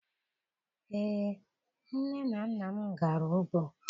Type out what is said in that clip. Ee, nne na nna m gara ugbo.